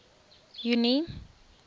junie